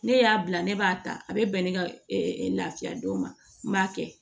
Ne y'a bila ne b'a ta a bɛ bɛn ne ka lafiya don ma n b'a kɛ